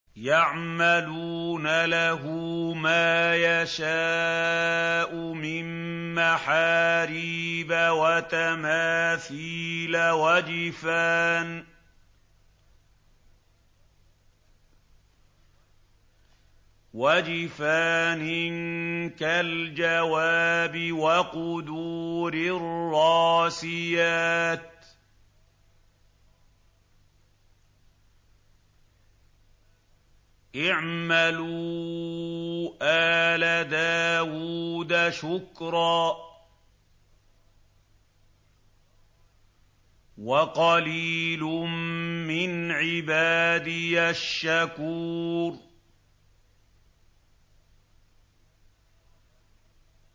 يَعْمَلُونَ لَهُ مَا يَشَاءُ مِن مَّحَارِيبَ وَتَمَاثِيلَ وَجِفَانٍ كَالْجَوَابِ وَقُدُورٍ رَّاسِيَاتٍ ۚ اعْمَلُوا آلَ دَاوُودَ شُكْرًا ۚ وَقَلِيلٌ مِّنْ عِبَادِيَ الشَّكُورُ